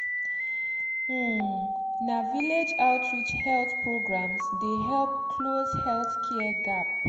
uhmmna village outreach health programs dey help close healthcare um gap.